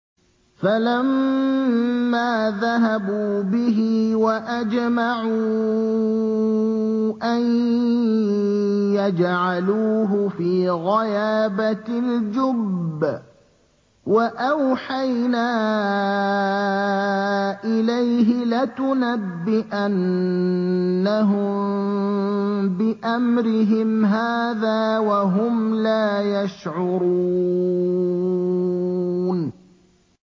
فَلَمَّا ذَهَبُوا بِهِ وَأَجْمَعُوا أَن يَجْعَلُوهُ فِي غَيَابَتِ الْجُبِّ ۚ وَأَوْحَيْنَا إِلَيْهِ لَتُنَبِّئَنَّهُم بِأَمْرِهِمْ هَٰذَا وَهُمْ لَا يَشْعُرُونَ